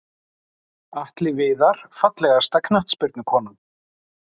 Atli Viðar Fallegasta knattspyrnukonan?